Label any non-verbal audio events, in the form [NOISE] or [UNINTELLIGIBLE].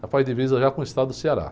Já faz divisa já com o estado do. [UNINTELLIGIBLE]